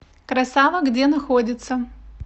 красава где находится